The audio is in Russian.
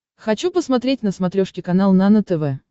хочу посмотреть на смотрешке канал нано тв